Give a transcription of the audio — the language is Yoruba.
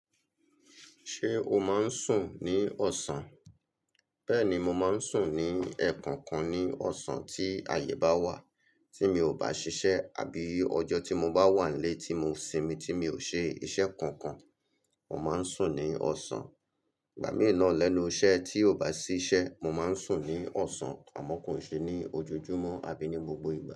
Ṣé o máa ń sùn ní ọ̀sán? Bẹ́ẹ̀ni, mo máa ń sùn ní ẹ̀ẹ̀kọ̀kan ní ọ̀sán tí àyè bá wà tí mi ò bá ṣiṣẹ́ àbí ọjọ́ tí mo bá wà nlé tí mo sinmi tí mi ò ṣe iṣẹ́ kankan. Mo máa ń sùn ní ọ̀sán. Ìgbà mìí nà lẹ́nu iṣẹ́ tí ò bá sí ṣẹ́, mo máa ń sùn ní ọ̀sán àmọ́ kò n ṣe ní ojoojúmọ́ àbí ní gbogbo ìgbà.